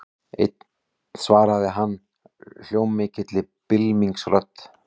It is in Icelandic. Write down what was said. Einn svaraði hann hljómmikilli bylmingsrödd.